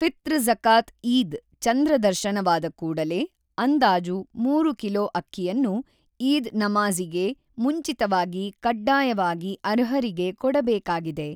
ಫಿತ್ರ್ ಝಕಾತ್ ಈದ್ ಚಂದ್ರ ದರ್ಶನ ವಾದ ಕೂಡಲೇ ಅಂದಾಜು 3 ಕಿಲೋ ಅಕ್ಕಿಯನ್ನು ಈದ್ ನಮಾಝಿಗೆ ಮುಂಚಿತವಾಗಿ ಕಡ್ಡಾಯವಾಗಿ ಅರ್ಹರಿಗೆ ಕೊಡಬೇಕಾಗಿದೆ.